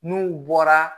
N'u bɔra